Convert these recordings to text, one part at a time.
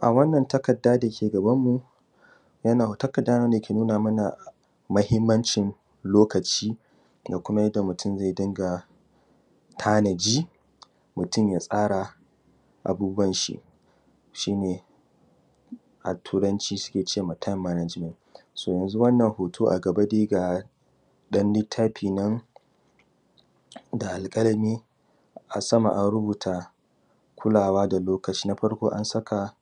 A wannan takarda dake gaban mu takarda ne dake nuna mana mahimmancin lokaci da kuma yanda mutun zai dunga tanaji mutun ya tsara abubuwanshi shine a turanci sukema time management. Wannan hoto a gaba dai ga ɗan littafinan da alkalami a sama an rubuta kulawa da lokaci. Na farko an saka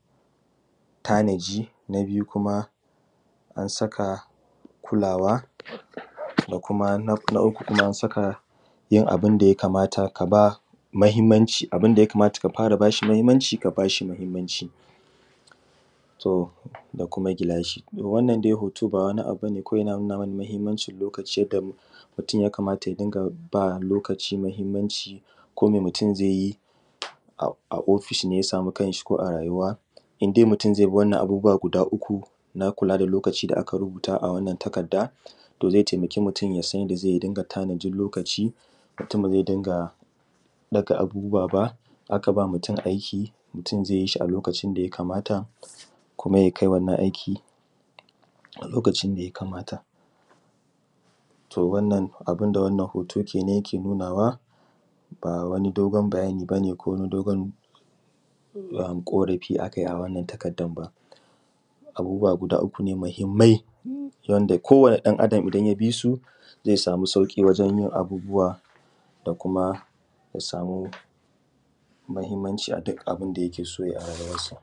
tanaji. Na biyu kuma an saka kulawa. Na uku kuma an abunda ya kamata kabashi mahimmanci ka bashi mahimanci to da kuma gilashi. Wannan hoto ba wani abu bane kawai yana nuna mana mahimmancin lokaci ne yadda mutun ya kamata yarinƙa kula da lokaci komai mutun zaiyi a ofishi ko a rayuwa in dai mutun zaibi wannan abubuwa guda uku na kula da lokaci da aka rubuta a wannan takarda to zai taimaki mutan yasan yanda zai dinga tanajin lokaci. Mutun bazai dinga ɗaga abubuwa ba in akaba mutun aiki zai yishi a lokacin da yakamata kuma yakai wannan aiki a lokacin da yakamata. To wannan abunda dai wannan hoto kenan yake nunawa ba wani dai dogon bayani bane ko wani dogon rubutu ba ko wani ƙorafi a kayi akan wannan takardan ba. Abubuwa guda uku ne mahimmai wanda ko wani ɗan Adam idan ya bisu zai samu sauƙi wajen yin abubuwa da kuma ya samu mahimmanci aduk abunda yake so yayi a ruyuwan sa.